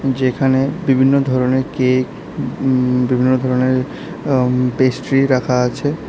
যেখানে বিভিন্ন ধরনের কেক উম বিভিন্ন ধরনের আঃ উম পেস্ট্রি রাখা আছে।